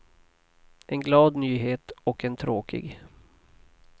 En glad nyhet och en tråkig.